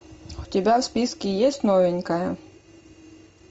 у тебя в списке есть новенькая